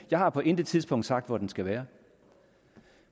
jeg har på intet tidspunkt sagt hvor den skal være